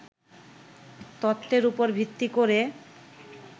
তত্ত্বের উপর ভিত্তি করে